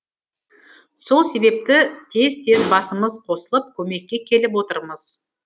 сол себепті тез тез басымыз қосылып көмекке келіп отырмыз